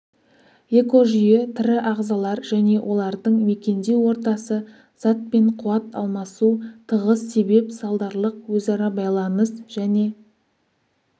экожүйе тірі ағзалар және олардың мекендеу ортасы зат пен қуат алмасу тығыз себеп-салдарлық өзара байланыс және